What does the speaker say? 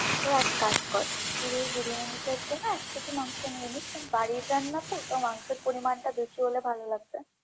হ্যাঁ, তো এক কাজ কর, তুই বিরিয়ানিটার জন্য এক কেজি মাংস নিয়ে নিশ, বাড়ির রান্না তো? মাংসের পরিমানটা বেশী হলে ভালো লাগবে।